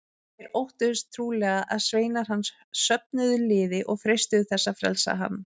Þeir óttuðust trúlega að sveinar hans söfnuðu liði og freistuðu þess að frelsa hann.